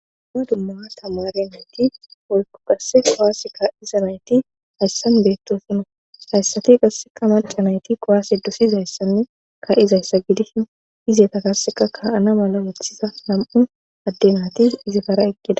Ma dumma tamare nayti wolku qasse kowaase ka7iza nayti hayssan beettosino hayssati qasseka malca nayti kowaase dosizayssanne ka7izayssa gidisho ize ta karseka kaana mala weththiza nam7u addenaatis izi kara eqkida..